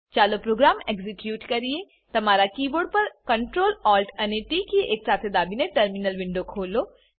ચાલો program execute કરીએ તમારા કીબોર્ડ પર Ctrl Alt અને ટી કી એકસાથે દાબીને ટર્મિનલ વિન્ડો ખોલો